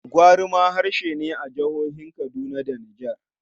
Gwari ma harshe ne a jihohin Kaduna da Niger.